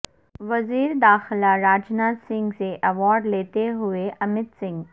وزیر داخلہ راجناتھ سنگھ سے ایوارڈ لیتے ہوئے امت سنگھ